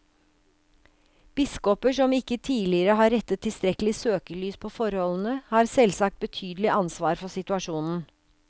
Biskoper som ikke tidligere har rettet tilstrekkelig søkelys på forholdene, har selvsagt betydelig ansvar for situasjonen.